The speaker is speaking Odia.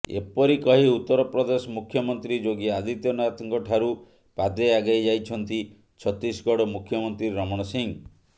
ଏପରି କହି ଉତ୍ତରପ୍ରଦେଶ ମୁଖ୍ୟମନ୍ତ୍ରୀ ଯୋଗୀ ଆଦିତ୍ୟନାଥଙ୍କ ଠାରୁ ପାଦେ ଆଗେଇ ଯାଇଛନ୍ତି ଛତିଶଗଡ ମୁଖ୍ୟମନ୍ତ୍ରୀ ରମଣ ସିଂହ